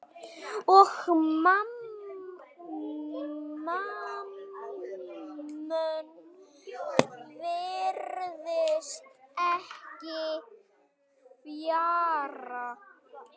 Og Mammon virðist ekki fjarri.